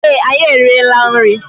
Ee, anyị eriela nri.